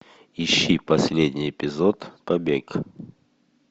ищи последний эпизод побег